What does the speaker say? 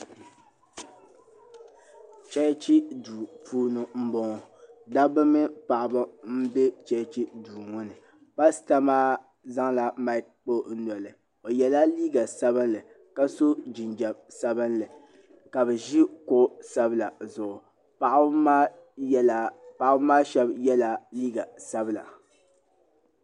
Chɛchi duu puuni m bɔŋɔ dabba mini paɣaba m bɛ chɛchi duu ŋɔ ni pasta maa zaŋla mik kpa o noli o yɛlla liiga sabinli ka so jinjɛm sabinli ka bɛ ʒe kuɣu sabila zuɣu paɣaba maa shɛba yɛla liiga sabila.